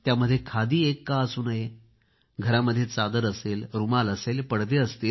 त्यामध्ये खादी एक का असू नये घरामध्ये चादर असेल रूमाल असेल पडदे असतील